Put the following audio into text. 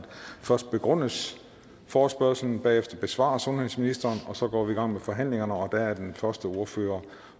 først begrundes forespørgslen bagefter besvarer sundhedsministeren og så går vi i gang med forhandlingen og der er den første ordføreren